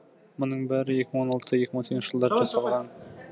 мұның бәрі екі мың он алты екі мың он сегізінші жылдары жасалған